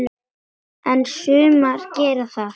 En sumar gera það.